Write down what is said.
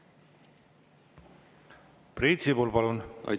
Priit Sibul, palun!